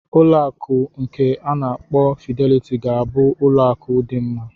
Ụlọ akụ nke a na-akpọ Fidelity ga-abụ ụlọ akụ dị mma.